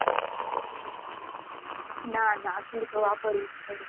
ના ના હજુ તો વાપરું છું